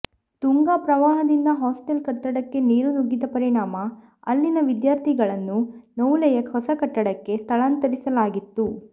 ತುಂಗಾ ಪ್ರವಾಹದಿಂದ ಹಾಸ್ಟೆಲ್ ಕಟ್ಟಡಕ್ಕೆ ನೀರು ನುಗ್ಗಿದ್ದ ಪರಿಣಾಮ ಅಲ್ಲಿನ ವಿದ್ಯಾರ್ಥಿಗಳನ್ನು ನವುಲೆಯ ಹೊಸ ಕಟ್ಟಡಕ್ಕೆ ಸ್ಥಳಾಂತರಿಸಲಾಗಿತ್ತು